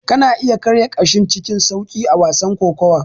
Kana iya karya ƙashin cikin sauƙi a wasan kokawa.